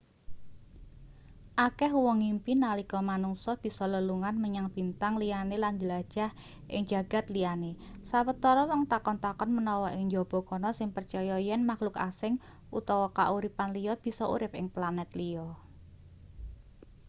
akeh wong ngimpi nalika manungsa bisa lelungan menyang bintang liyane lan njelajah ing jagad liyane sawetara wong takon-takon menawa ing njaba kana sing percaya yen makluk asing utawa kauripan liya bisa urip ing planet liya